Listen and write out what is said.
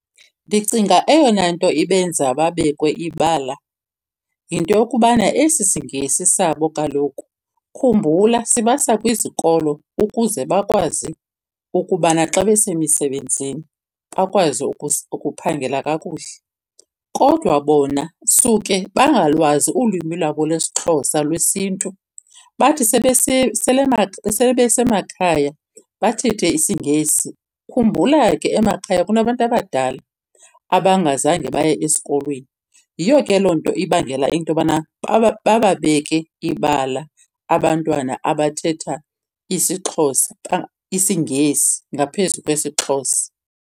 Ndicinga eyona nto ibenza babekwe ibala yinto yokubana esi siNgesi sabo kaloku, khumbula sibasa kwizikolo ukuze bakwazi ukubana xa besemisebenzini bakwazi ukuphangela kakuhle, kodwa bona suke bangalwazi ulwimi lwabo lwesiXhosa lwesiNtu, bathi sele besemakhaya bathethe isiNgesi. Khumbula ke emakhaya kunabantu abadala abangazange baye esikolweni. Yiyo ke loo nto ibangela into yobana bababeke ibala abantwana abathetha isiXhosa , isiNgesi ngaphezu kwesiXhosa.